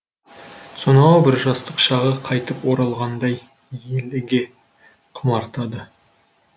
сонау бір жастық шағы қайтып оралғандай еліге құмартады